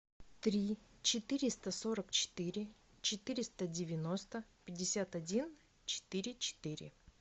три четыреста сорок четыре четыреста девяносто пятьдесят один четыре четыре